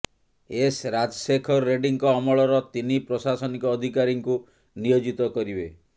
S Rajasekhar ରେଡ୍ଡିଙ୍କ ଅମଳର ତିନି ପ୍ରଶାସନିକ ଅଧିକାରୀଙ୍କୁ ନିୟୋଜିତ କରିବେ